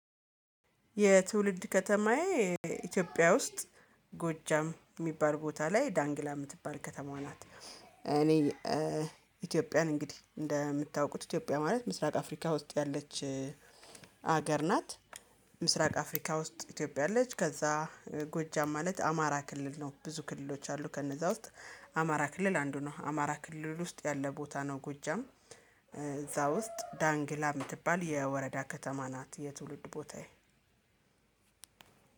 የትውልድ ከተማዬ ኢትዮጵያ ውስጥ ጎጃም የሚባል ቦታ ላይ ዳንግላ የምትባል ከተማዋ ናት። እኔ እ ኢትዮጵያን እንግዲህ እንደምታውቁት ኢትዮጵያ ማለት ምስራቅ አፍሪካ ውስጥ ያለች ሀገር ናት። ምስራቅ አፍሪካ ውስጥ ኢትዮጵያ አለች ከዛ ጎጃም ማለት አማራ ክልል ነው። ብዙ ክልሎች አሉ ከነዛ ውስጥ አማራ ክልል አንዱ ነው። አማራ ክልል ውስጥ ያለ ቦታ ነው። ጎጃም እ እዛ ውስጥ ዳንግላ የምትባል የወረዳ ከተማ ናት። የትውልድ ቦታዬ።